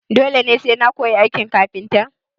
Dole sai na koyi aikin kafintan?